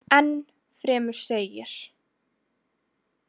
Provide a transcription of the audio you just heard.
Enn fremur segir.